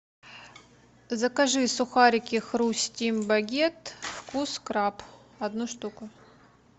закажи сухарики хрустим багет вкус краб одну штуку